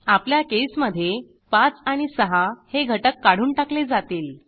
आपल्या केसमधे 5 आणि 6 हे घटक काढून टाकले जातील